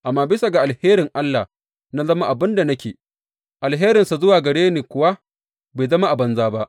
Amma bisa ga alherin Allah, na zama abin da nake, alherinsa zuwa gare ni kuwa bai zama a banza ba.